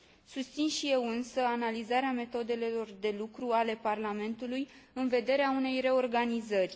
Susțin și eu însă analizarea metodelor de lucru ale Parlamentului, în vederea unei reorganizări.